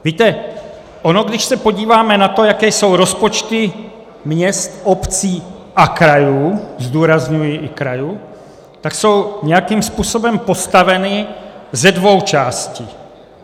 Víte, ono když se podíváme na to, jaké jsou rozpočty měst, obcí a krajů - zdůrazňuji i krajů - tak jsou nějakým způsobem postaveny ze dvou částí.